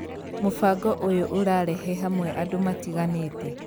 Mũbango ũyũ ũrarehe hamwe andũ matiganĩte,